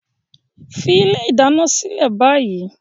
Fi ilé ìdáná sílẹ̀ báyìí!